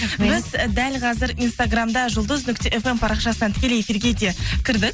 біз і дәл қазір инстаграмда жұлдыз нүкте фм парақшасынан тікелей эфирге де кірдік